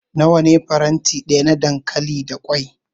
Nawa ne faranti daya na dankali da kwai?